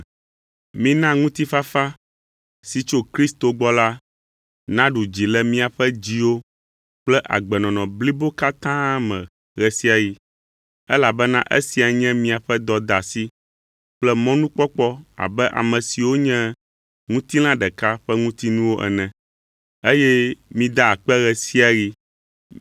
Mina ŋutifafa si tso Kristo gbɔ la naɖu dzi le miaƒe dziwo kple agbenɔnɔ blibo katã me ɣe sia ɣi, elabena esia nye miaƒe dɔdeasi kple mɔnukpɔkpɔ abe ame siwo nye ŋutilã ɖeka ƒe ŋutinuwo ene. Eye mida akpe ɣe sia ɣi.